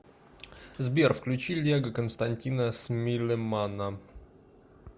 сбер включи лего константина смилемана